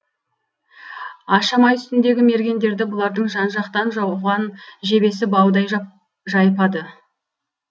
ашамай үстіндегі мергендерді бұлардың жан жақтан жауған жебесі баудай жайпады